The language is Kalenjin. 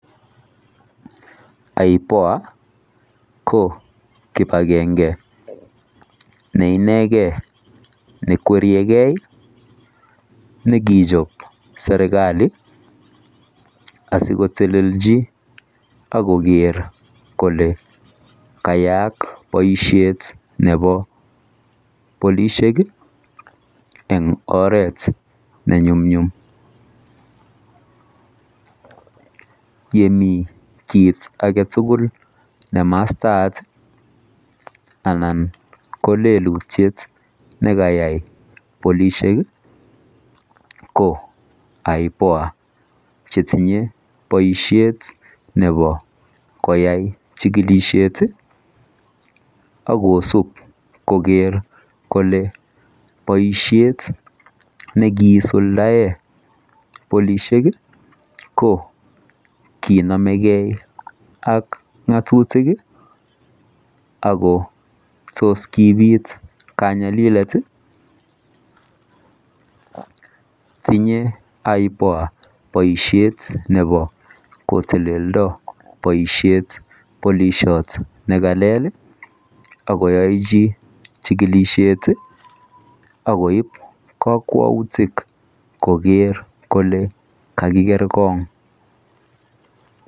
[IPOA] ko kibangengei ne inegei ne kweriegei nekichaap serikali asiko teleljii ak koger kole kayaak bosiet nebo polisiek en oret ne nyumnyum yemii kit age tugul ne mastaat anan ko lelutiet nekayai polisiek ko [IPOA] che tinyei boisiet nebo koyai chikilisheet ak kosuup koger kole bosiet nekiisuldaen polisiek ko ki namekei ak ngatutiik ako tos kobiit kanyalilet ii tinyei [IPOA] boisiet nebo koteleljii bosiet polisiat nekalel ii ako yae chii chikilisheet ak koib kakwautiik koger kole kakiger korong.